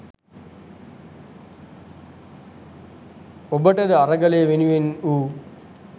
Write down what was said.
ඔබට ද අරගලය වෙනුවෙන් වූ